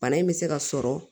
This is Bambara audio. Bana in bɛ se ka sɔrɔ